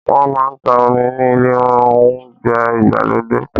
Wọ́n máa ń ta omi ni ilé Ohunjẹ́ ìgbàlódé